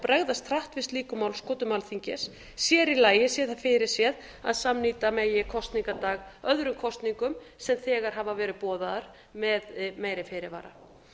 bregðast hratt við slíkum málskotum alþingis sér í lagi sé það fyrirséð að samnýta megi kosningadag öðrum kosningum sem þegar hafa verið boðaðar með meiri fyrirvara